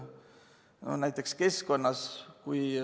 Või näiteks keskkond.